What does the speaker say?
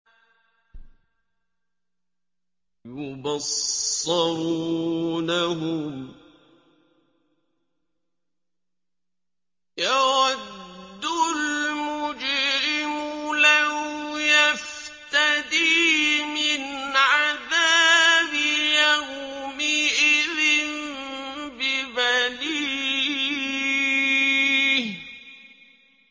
يُبَصَّرُونَهُمْ ۚ يَوَدُّ الْمُجْرِمُ لَوْ يَفْتَدِي مِنْ عَذَابِ يَوْمِئِذٍ بِبَنِيهِ